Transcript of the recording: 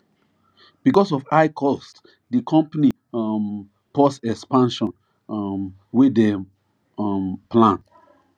because of high cost di company um pause expansion um wey dem um plan